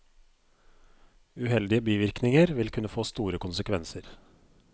Uheldige bivirkninger vil kunne få store konsekvenser.